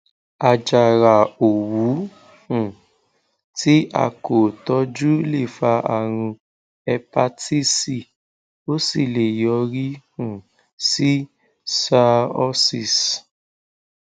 àjàrà òwú um tí a kò tọjú lè fa àrùn éèpatisí ó sì lè yọrí um sí cirrhosis